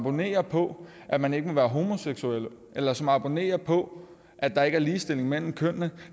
abonnerer på at man ikke må være homoseksuel eller som abonnerer på at der ikke er ligestilling mellem kønnene